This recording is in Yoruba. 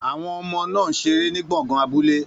Àwọn ọmọ náà ń ṣeré ní gbọ̀ngàn abúlé.